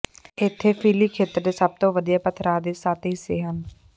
ਇੱਥੇ ਫੀਲੀ ਖੇਤਰ ਦੇ ਸਭ ਤੋਂ ਵਧੀਆ ਪਥਰਾਅ ਦੇ ਸੱਤ ਹਿੱਸੇ ਹਨ